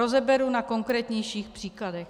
Rozeberu na konkrétnějších příkladech.